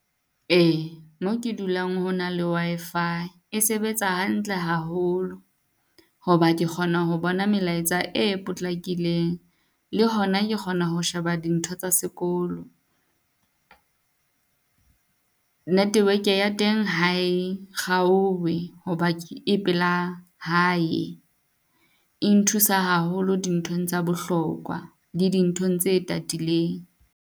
Ee, mo ke dulang hona le Wi-Fi e sebetsa hantle haholo, ho ba ke kgona ho bona melaetsa e potlakileng. Le hona ke kgona ho sheba dintho tsa sekolo. Network-e ya teng ha e kgaowe ho ba e pela hae. E nthusa haholo dinthong tsa bohlokwa, le dinthong tse tatileng.